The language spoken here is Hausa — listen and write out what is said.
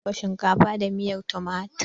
Zan dafa shinkafa da miyan tumatir.